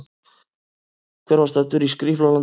Hver var staddur í Skrýpla-landi?